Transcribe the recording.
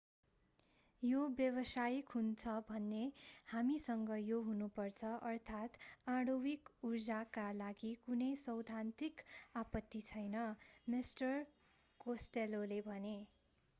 यो व्यावसायिक हुन्छ भने हामीसँग यो हुनुपर्छ अर्थात् आणविक ऊर्जाका लागि कुनै सैद्धान्तिक आपत्ति छैन मिस्टर कोस्टेल्लोले भने